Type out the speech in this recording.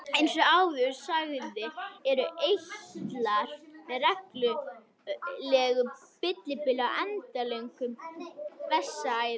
Eins og áður sagði eru eitlar með reglulegu millibili á endilöngum vessaæðum.